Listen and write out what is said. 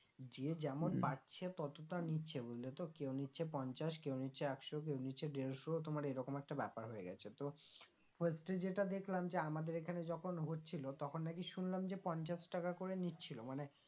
যে যেমন পারছে তত তা নিচ্ছে বুঝলে তো কেউ নিচ্ছে পঞ্চাশ কেউ নিচ্ছে একশো কেউ নিচ্ছে দেড়শো তোমার এরকম একটা ব্যাপার হয়ে গেছে তো হচ্ছে যেটা দেখলাম যে আমাদের এখানে যখন হচ্ছিলো তখন নাকি শুনলাম যে পঞ্চাশ টাকা করে নিচ্ছিলো মানে